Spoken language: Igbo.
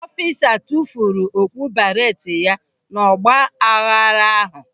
Ọfisa tufuru okpu beereeti ya n'ọgba aghara ahụ.